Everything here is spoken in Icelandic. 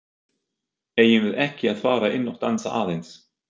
Eigum við ekki að fara inn og dansa aðeins?